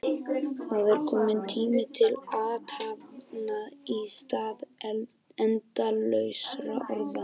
Það er kominn tími til athafna í stað endalausra orða.